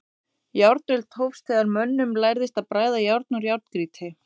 Járnöld hófst þegar mönnum lærðist að bræða járn úr járngrýti.